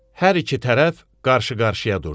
Hər iki tərəf qarşı-qarşıya durdu.